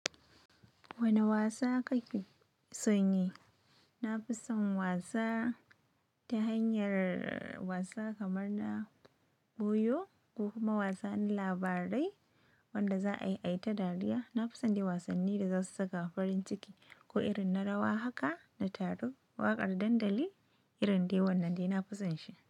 Wane wasa kake son yi? Na fi son wasa ta hanyar wasa kamar na buyo ko kuma wasa na labarai wanda za a yi ta dariya. Na fi son wasanni da za su saka farin ciki ko irin na rawa haka na taro. Waƙar dandali irin dai wannan dai na fi son shi.